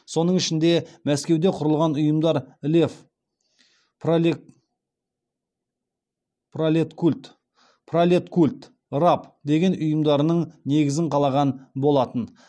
соның ішінде мәскеуде құрылған ұйымдар лев пролеткульт раб деген ұйымдарының негізін қаланған болатын